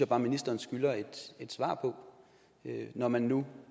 bare ministeren skylder et svar på når man nu